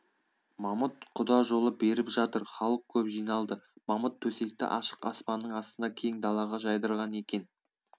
мамыт құдажолы беріп жатыр халық көп жиналды мамыт төсекті ашық аспанның астына кең далаға жайдырған екен